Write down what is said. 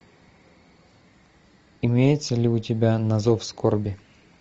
имеется ли у тебя на зов скорби